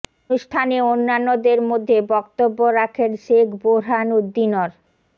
অনুষ্ঠানে অন্যান্যদের মধ্যে বক্তব্য রাখেন শেখ বোরহান উদ্দিন র